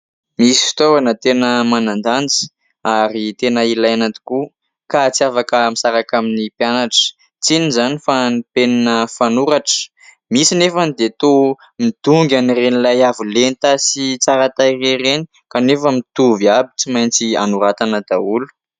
Misy fitaovana tena manan-danja ary tena ilaina tokoa ka tsy afaka misaraka amin'ny mpianatra, tsy inona izany fa ny penina fanoratra misy anefany dia toa midongy an'ireny ilay avolenta sy tsara tareha ireny kanefa mitovy avy, tsy maintsy anoratana daholo.